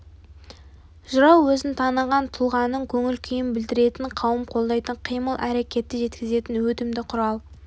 жырау өзін таныған тұлғаның көңіл-күйін білдіретін қауым қолдайтын қимыл-әрекетті жеткізетін өтімді құралы